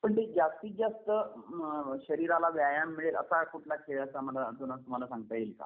पण ते जास्तीत जास्त अ शरीराला व्यायाम मिळेल असा कुठला खेळ जुना मला सांगता येईल.